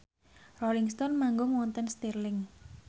Rolling Stone manggung wonten Stirling